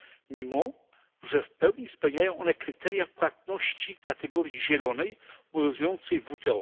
mimo że w pełni spełniają one kryteria płatności kategorii zielonej obowiązującej w WTO.